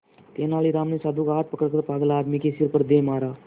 तेनालीराम ने साधु का हाथ पकड़कर पागल आदमी के सिर पर दे मारा